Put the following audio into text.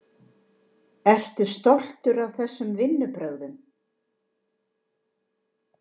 AK: Eru stoltur af þessum vinnubrögðum?